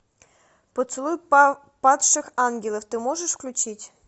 поцелуй падших ангелов ты можешь включить